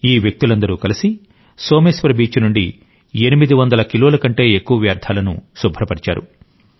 ఈ వ్యక్తులందరూ కలిసి సోమేశ్వర్ బీచ్ నుండి 800 కిలోల కంటే ఎక్కువ వ్యర్థాలను శుభ్రపరిచారు